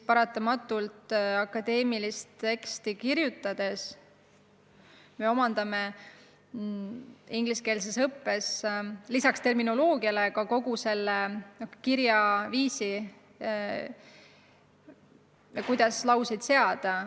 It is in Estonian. Akadeemilist teksti kirjutades me paratamatult omandame ingliskeelses õppes lisaks terminoloogiale ka kogu selle kirjaviisi, kuidas lauseid seada.